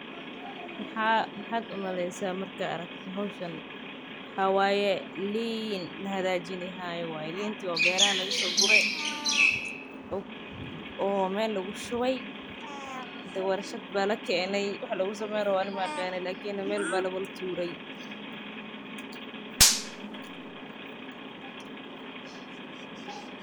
Maxaad umalaynaysa mark aragto xowshaan, wa wayee liin laxagajinixayo wayee, liinti o beraxa lagasoguree, oo mel lgushuwey, dee warshad ba lakenay, wax lagusamenyrawoo ani maagani lakini aya lawadatuurey.